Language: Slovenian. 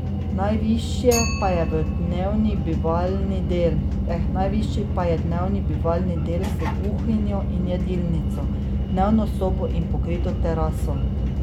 Najvišje pa je dnevni bivalni del, s kuhinjo in jedilnico, dnevno sobo in pokrito teraso.